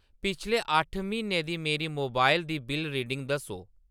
पिछले अट्ठ म्हीनें दी मेरी मोबाइल दी बिल्ल रीडिंग दस्सो।